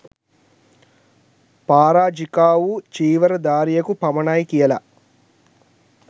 පාරාජිකාවූ චීවර ධාරියකු පමණයි කියලා